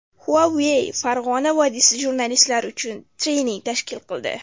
Huawei Farg‘ona vodiysi jurnalistlari uchun trening tashkil qildi.